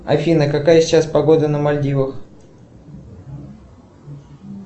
афина какая сейчас погода на мальдивах